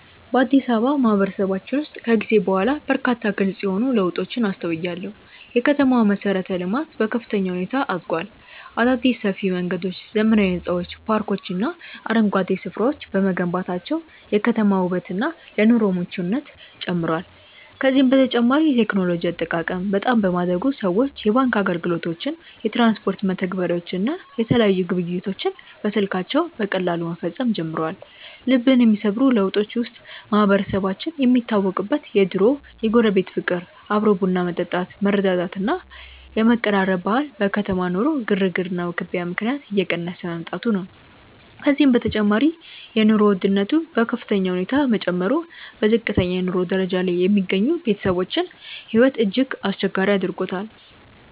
በአዲስ አበባ ማህበረሰባችን ውስጥ ከጊዜ በኋላ በርካታ ግልጽ የሆኑ ለውጦችን አስተውያለሁ። የከተማዋ መሠረተ-ልማት በከፍተኛ ሁኔታ አድጓል። አዳዲስ ሰፊ መንገዶች፣ ዘመናዊ ሕንፃዎች፣ ፓርኮችና አረንጓዴ ስፍራዎች በመገንባታቸው የከተማዋ ውበትና ለኑሮ ምቹነቷ ጨምሯል። ከዚህም በተጨማሪ የቴክኖሎጂ አጠቃቀም በጣም በማደጉ ሰዎች የባንክ አገልግሎቶችን፣ የትራንስፖርት መተግበሪያዎችን እና የተለያዩ ግብይቶችን በስልካቸው በቀላሉ መፈጸም ጀምረዋል። ልብን የሚሰብሩ ለውጦች ውስጥ ማህበረሰባችን የሚታወቅበት የድሮው የጎረቤት ፍቅር፣ አብሮ ቡና መጠጣት፣ መረዳዳት እና የመቀራረብ ባህል በከተማ ኑሮ ግርግርና ውክቢያ ምክንያት እየቀነሰ መምጣቱ ነው። ከዚህም በተጨማሪ የኑሮ ውድነቱ በከፍተኛ ሁኔታ መጨመሩ በዝቅተኛ የኑሮ ደረጃ ላይ የሚገኙ ቤተሰቦችን ሕይወት እጅግ አስቸጋሪ አድርጎታል።